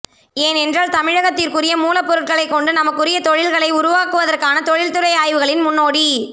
ஏனென்றால் தமிழகத்திற்குரிய மூலப்பொருட்களைக்கொண்டு நமக்குரிய தொழில்களை உருவாக்குவதற்கான தொழில்துறை ஆய்வுகளின் முன்னோடி